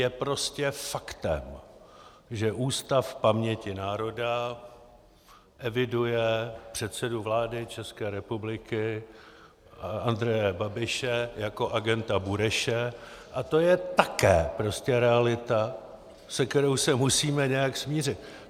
Je prostě faktem, že Ústav paměti národa eviduje předsedu vlády České republiky Andreje Babiše jako agenta Bureše, a to je také prostě realita, se kterou se musíme nějak smířit.